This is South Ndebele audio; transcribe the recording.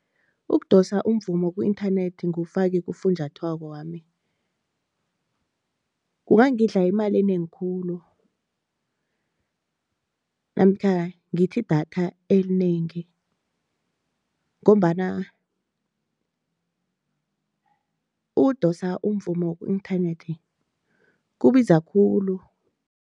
Ukudosa umvumo ku-inthanethi ngiwufake kufunjathwakwami, kungangidla imali enengi khulu namkha ngithi idatha elinengi ngombana ukudosa umvumo ku-inthanethi kubiza khulu.